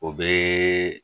O bɛ